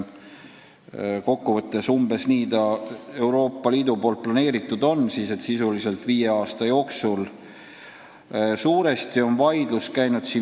Kokku võttes on see Euroopa Liidus planeeritud nii, et sisuliselt viie aasta jooksul tehakse asi ära.